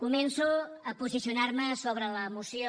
començo a posicionar me sobre la moció